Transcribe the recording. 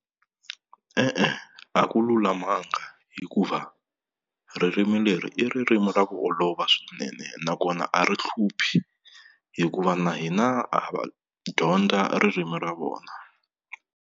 E-e, a ku lulamanga hikuva ririmi leri i ririmi ra ku olova swinene, nakona a ri hluphi hikuva na hina ha va dyondza ririmi ra vona.